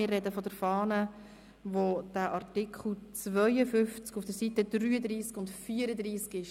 Wir reden von der Fahne, wo der Artikel 52 auf den Seiten 33 und 34 steht.